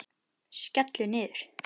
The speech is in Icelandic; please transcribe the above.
Skellur niður.